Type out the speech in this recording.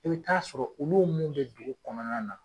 I bi ta sɔrɔ b'uolu mun bɛ dugu kɔnɔna na